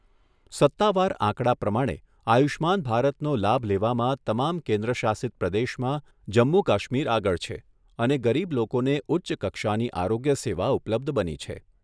સત્તાવાર આંકડા પ્રમાણે આયુષ્યમાન ભારતનો લાભ લેવામાં તમામ કેન્દ્ર શાસિત પ્રદેશમાં જમ્મુ કશ્મીર આગળ છે અને ગરીબ લોકોને ઉચ્ચ કક્ષાની આરોગ્ય સેવા ઉપલબ્ધ બની છે.